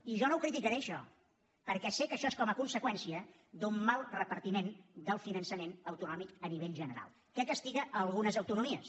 i jo no ho criticaré això perquè sé que això és com a conseqüència d’un mal repartiment del finançament autonòmic a nivell general que castiga algunes autonomies